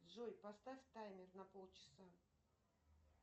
джой поставь таймер на полчаса